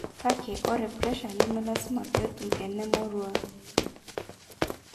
kake ore pressure nemelasima pee etum enemoruau